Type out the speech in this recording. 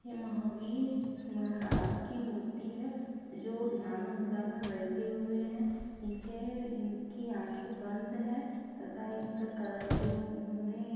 ये महावीर महाराज की मूर्ति है जो ध्यान मुद्रा में बैठे हुए हैं इनके इनकी आंखें बंद है तथा इनका कलर जो उन्होंने--